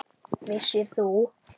Vissir þú?